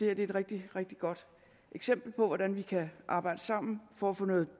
er et rigtig rigtig godt eksempel på hvordan vi kan arbejde sammen for at få noget